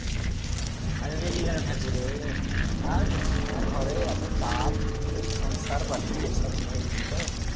আরে রেগে কেন থাকবো রে আর বলিস না ঘরে এত চাপ এই সংসার পাতি এইসব নিয়ে বুঝলি তো